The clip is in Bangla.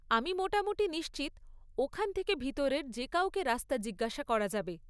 আমি মোটামুটি নিশ্চিত ওখান থেকে ভিতরের যে কাউকে রাস্তা জিজ্ঞাসা করা যাবে।